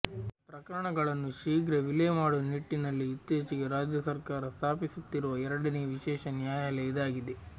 ಪ್ರಕರಣಗಳನ್ನು ಶೀಘ್ರ ವಿಲೆ ಮಾಡುವ ನಿಟ್ಟಿನಲ್ಲಿ ಇತ್ತೀಚೆಗೆ ರಾಜ್ಯ ಸರಕಾರ ಸ್ಥಾಪಿಸುತ್ತಿರುವ ಎರಡನೇ ವಿಶೇಷ ನ್ಯಾಯಾಲಯ ಇದಾಗಿದೆ